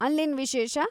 ಅಲ್ಲೇನ್‌ ವಿಶೇಷ?